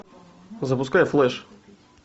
запускай флэш